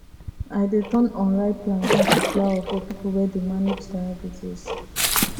i dey turn unripe plantain to flour for people wey dey manage diabetes